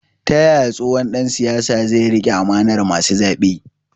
Ta yaya tsohon dan siyasa zai rike amanar masu zabe?